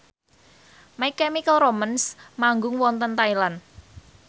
My Chemical Romance manggung wonten Thailand